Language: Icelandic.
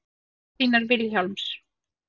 Hendur þínar Vilhjálms.